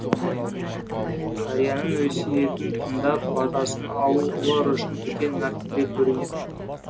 қарияның өсиетін тыңдап батасын алу олар үшін үлкен мәртебе көрінетін